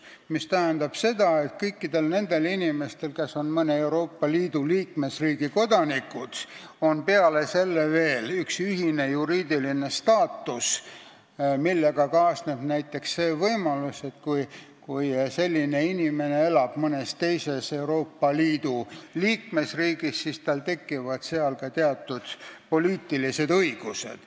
See tähendab seda, et kõikidel nendel inimestel, kes on mõne Euroopa Liidu liikmesriigi kodanikud, on peale selle veel ühine juriidiline staatus, millega kaasneb näiteks selline võimalus, et kui see inimene elab mõnes teises Euroopa Liidu liikmesriigis, siis tal tekivad ka seal teatud poliitilised õigused.